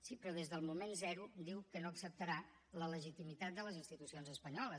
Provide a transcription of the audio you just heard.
sí però des del moment zero diu que no acceptarà la legitimitat de les institucions espanyoles